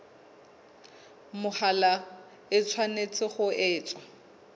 mahola e tshwanetse ho etswa